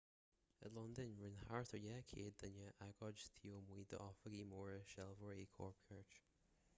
i londain rinne thart ar 200 duine agóid taobh amuigh d'oifigí móra sealbhóirí cóipchirt